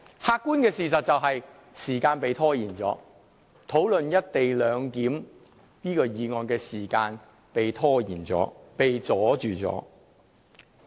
客觀的事實是時間被拖延，討論"一地兩檢"議案的時間被拖延，被阻礙。